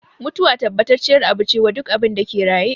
Mutuwa tabbacacciyar abu ce wa duk abinda ke raye